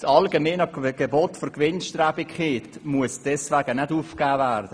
Das allgemeine Gebot des Gewinnstrebens muss dafür nicht aufgegeben werden.